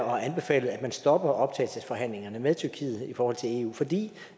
og har anbefalet at man stopper optagelsesforhandlingerne med tyrkiet i forhold til eu fordi